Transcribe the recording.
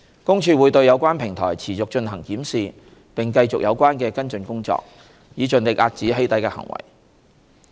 公署會對有關平台持續進行檢視並繼續有關的跟進工作，以盡力遏止"起底"的行為。